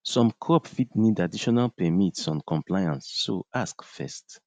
some crop fit need additional permits on compliance so ask first